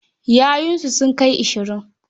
Yayunsa sun kai ashirin.